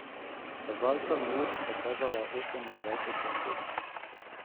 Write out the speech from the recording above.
Kazalca na uri sta kazala osemindvajset čez sedem.